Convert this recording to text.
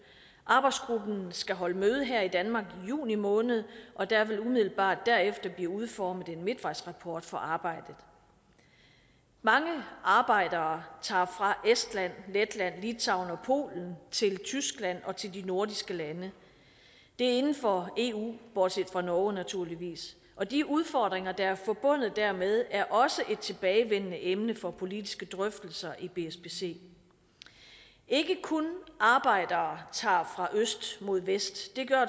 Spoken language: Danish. arbejdsgruppen skal holde møde her i danmark i juni måned og der vil umiddelbart derefter bliver udformet en midtvejsrapport for arbejdet mange arbejdere tager fra estland letland litauen og polen til tyskland og til de nordiske lande det er inden for eu bortset fra norge naturligvis og de udfordringer der er forbundet dermed er også et tilbagevendende emne for politiske drøftelser i bspc ikke kun arbejdere tager fra øst mod vest det gør